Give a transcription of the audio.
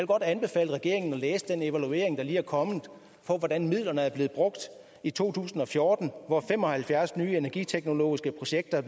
godt anbefale regeringen at læse den evaluering der lige er kommet af hvordan midlerne er blevet brugt i to tusind og fjorten hvor fem og halvfjerds nye energiteknologiske projekter